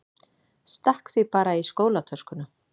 Stakk því bara í skólatöskuna.